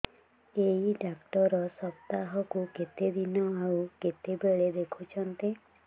ଏଇ ଡ଼ାକ୍ତର ସପ୍ତାହକୁ କେତେଦିନ ଆଉ କେତେବେଳେ ଦେଖୁଛନ୍ତି